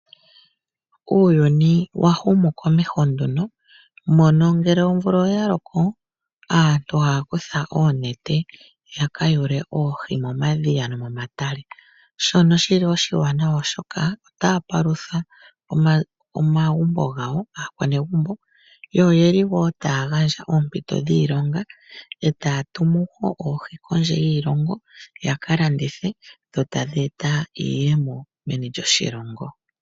Uuyuni wa humu nduno komeho mono ngele omvula oya loko, aantu ohaya kutha oonete ya ka yule oohi momadhiya nomomatale, shono shi li oshiwanawa, oshoka otaya palutha aanegumbo lyawo yo taya gandja wo oompito dhiilonga e taya tumu oohi kondje yiilongo ya ka landithe dho tadhi eta iiyemo meni lyoshilongo.